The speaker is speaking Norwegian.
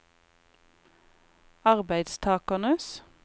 arbeidstakernes